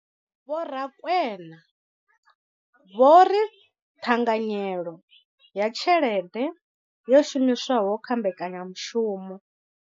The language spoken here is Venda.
Vho Rakwena vho ri ṱhanganyelo ya tshelede yo shumiswaho kha mbekanyamushumo.